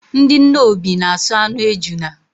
Ndị Nnobi na aso anụ ejuna